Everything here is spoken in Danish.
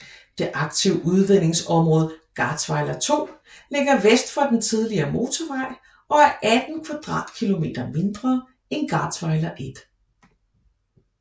Det aktive udvindingsområde Garzweiler II ligger vest for den tidligere motorvej og er 18 kvadratkilometer mindre end Garzweiler I